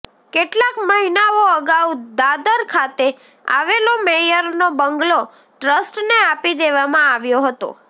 કેટલાક મહિનાઓ અગાઉ દાદર ખાતે આવેલો મેયરનો બંગલો ટ્રસ્ટને આપી દેવામાં આવ્યો હતો